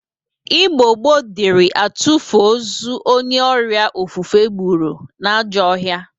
Igbo gboo dịri atụfụ ọzọ onye ọrịa ofufe gbụrụ n'ajọọ ọhịa.